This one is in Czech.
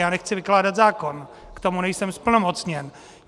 Já nechci vykládat zákon, k tomu nejsem zplnomocněn.